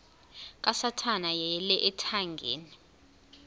kasathana yeyele ethangeni